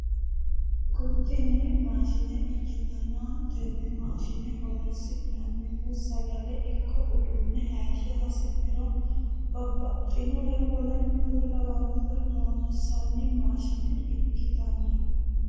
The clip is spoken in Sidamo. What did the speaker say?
Tini maashine ikkitanna tenne maashine horonsi'nannihu sagale ikko uduunne hayiishsha hasi'niro babbaxxinore woleno kuri lawannore loonsanni maashine ikkitanno